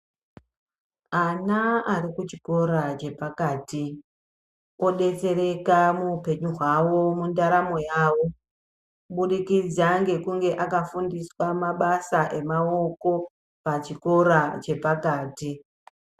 Ana arikuchikora chepakati odetsereka muhupenyu hwavo mundaramo yavo kubudikidza antu iwawo anenge akafundiswa mabasa emaoko pachikora chepakati.